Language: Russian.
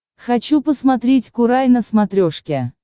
хочу посмотреть курай на смотрешке